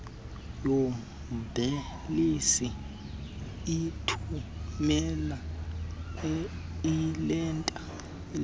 yombhalisi ithumela iileta